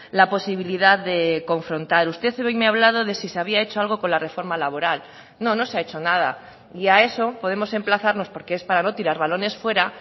la posibilidad de confrontar usted hoy me ha hablado de si se había hecho algo con la reforma laboral no no se ha hecho nada y a eso podemos emplazarnos porque es para no tirar balones fuera